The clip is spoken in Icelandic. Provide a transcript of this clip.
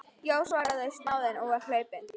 Já, svaraði snáðinn og var hlaupinn.